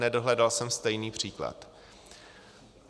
Nedohledal jsem stejný příklad.